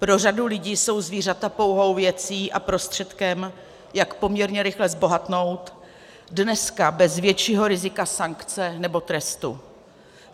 Pro řadu lidí jsou zvířata pouhou věcí a prostředkem, jak poměrně rychle zbohatnout dneska bez většího rizika sankce nebo trestu.